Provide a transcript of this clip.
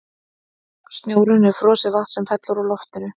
snjórinn er frosið vatn sem fellur úr loftinu